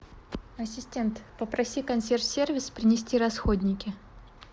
ассистент попроси консьерж сервис принести расходники